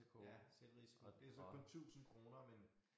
Ja selvrisiko det så kun 1000 kroner men